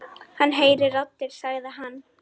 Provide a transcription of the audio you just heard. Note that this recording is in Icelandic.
Hann heyrir raddir sagði hann.